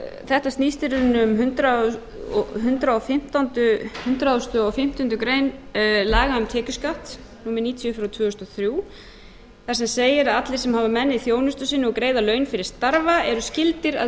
þetta snýst í rauninni um hundrað og fimmtándu grein laga um tekjuskatt númer níutíu tvö þúsund og þrjú þar sem segir að allir sem hafa menn í þjónustu sinni og greiða laun fyrir starfa eru skyldir að